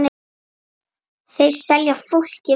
Þeir selja fólki von.